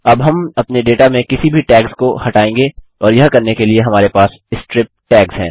अब हम अपने डेटा में किसी भी टैग्स को हटाएँगे और यह करने के लिए हमारे पास स्ट्रिप टैग्स हैं